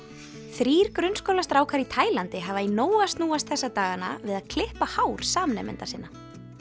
þrír í Taílandi hafa í nógu að snúast þessa dagana við að klippa hár samnemenda sinna